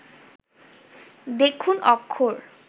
দেখুন অক্ষর